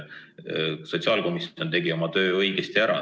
Sotsiaalkomisjon tegi oma töö õigesti ära.